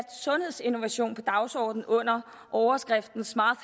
sundhedsinnovation på dagsordenen under overskriften smart